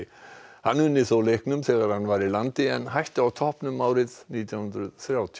hann unni þó leiknum þegar hann var í landi en hætti á toppnum árið nítján hundruð þrjátíu